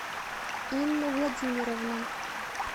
инну владимировну